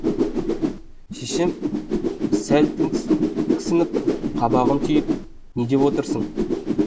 шешем сәл тіксініп қабағын түйіп не деп отырсың